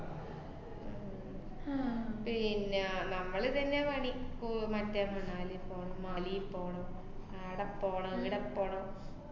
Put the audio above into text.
ആഹ് പിന്നെ നമ്മള് ഇതന്നെയാ പണി. കു~ മറ്റേ മണാലി പോണം, മാലീ പോണം ആടെ പോണം ഈടെ പോണം.